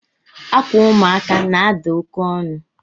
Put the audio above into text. Akwa ụmụaka na-ada oke onu